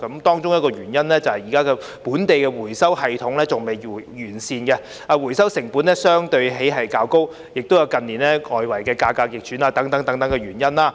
當中的原因是，現時本地的回收系統仍未完善，回收成本相對較高，還有近年外圍市場價格逆轉等原因。